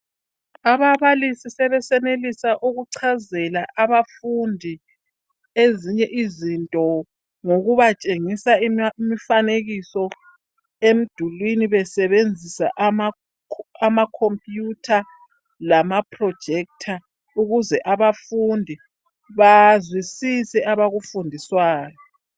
ababalisi sebesenelisa ukuchazela abafundi ezinye izinto ngokubatshengisa imfanekiso emdulini beseenzisa ama computer lama projector ukuze abafundi bazwisise abakufundiswayo